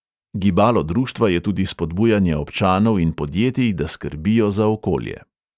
Gibalo društva je tudi spodbujanje občanov in podjetij, da skrbijo za okolje.